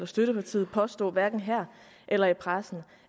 støttepartiet påstå det hverken her eller i pressen